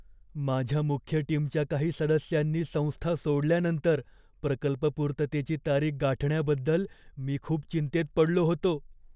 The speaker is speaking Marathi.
माझ्या मुख्य टीमच्या काही सदस्यांनी संस्था सोडल्यानंतर प्रकल्प पूर्ततेची तारीख गाठण्याबद्दल मी खूप चिंतेत पडलो होतो.